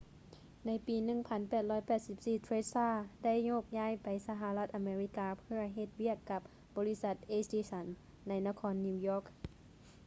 ໃນປີ 1884 ເທສ໌ລາ tesla ໄດ້ໂຍກຍ້າຍໄປສະຫະລັດອາເມລິກາເພື່ອເຮັດວຽກກັບບໍລິສັດ ເອດິສັນ edison ໃນນະຄອນນິວຢອກ